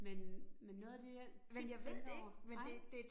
Men men noget af det, jeg tit tænker over, nej?